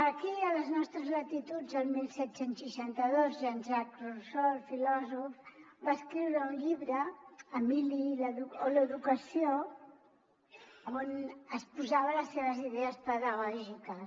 aquí a les nostres latituds el disset seixanta dos jean jacques rousseau el filòsof va escriure un llibre emili o de l’educació on exposava les seves idees pedagògiques